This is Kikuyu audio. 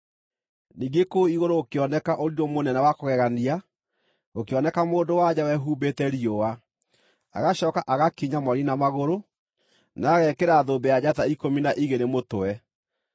Ningĩ kũu igũrũ gũkĩoneka ũrirũ mũnene wa kũgegania: gũkĩoneka mũndũ-wa-nja wehumbĩte riũa, agacooka agakinya mweri na magũrũ, na agekĩra thũmbĩ ya njata ikũmi na igĩrĩ mũtwe.